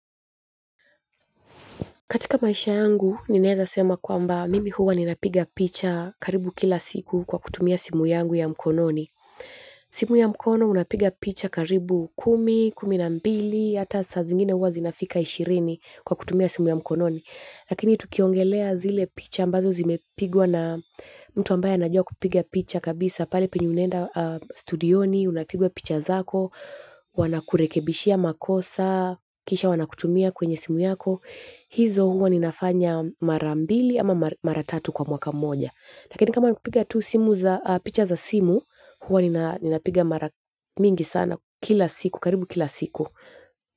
Katika maisha yangu ninaeza sema kwamba mimi huwa ninapiga picha karibu kila siku kwa kutumia picha yangu ya mkononi simu ya mkono una piga picha karibu kumi kumi na mbili ata saa zingine huwa zinafika ishirini kwa kutumia simu ya mkononi lakini tukiongelea zile picha ambazo zimepigwa na mtu ambaye anajua kupiga picha kabisa, pale penyu unaenda studioni, unapigwa picha zako, wanakurekebishia makosa, kisha wanakutumia kwenye simu yako. Hizo huwa ninafanya mara mbili ama mara tatu kwa mwaka moja lakini kama ni kupiga tu simu za picha za simu huwa nina piga mara mingi sana kila siku, karibu kila siku.